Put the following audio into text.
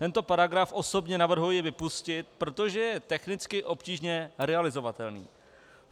Tento paragraf osobně navrhuji vypustit, protože je technicky obtížně realizovatelný.